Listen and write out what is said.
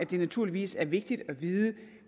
det naturligvis er vigtigt at vide